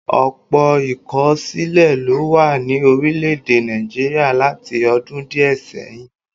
Ọ̀pọ̀ ìkọ̀sílẹ̀ ló wà ní orílẹ̀-èdè Nàìjíríà láti ọdún díẹ̀ sẹ́yìn